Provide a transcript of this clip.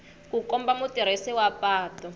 ku komba mutirhisi wa patu